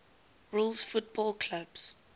rules football clubs